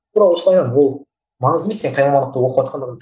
тура осылай ол маңызды емес сен қай мамандықты оқыватқандығың